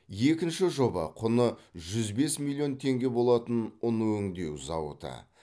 екінші жоба құны жүз бес миллион теңге болатын ұн өңдеу зауыты